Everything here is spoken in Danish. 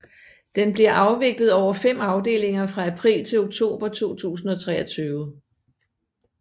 Den bliver afviklet over fem afdelinger fra april til oktober 2023